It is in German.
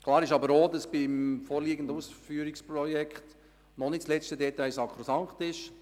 Klar ist aber auch, dass beim vorliegenden Ausführungsprojekt das letzte Detail noch nicht sakrosankt ist.